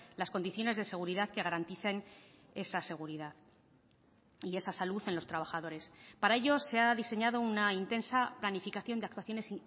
las condiciones de seguridad que garanticen esa seguridad y esa salud en los trabajadores para ello se ha diseñado una intensa planificación de actuaciones